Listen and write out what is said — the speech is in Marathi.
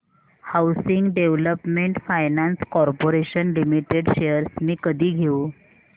housing development finance corporation limited shares मी कधी घेऊ